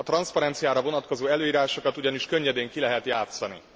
A transzparenciára vonatkozó előírásokat ugyanis könnyedén ki lehet játszani.